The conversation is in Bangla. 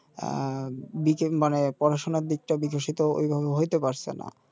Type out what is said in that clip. আ বিকাশ মানে পড়াশোনার দিকটা বিকশিত ঐভাবে হইতে পারছেনা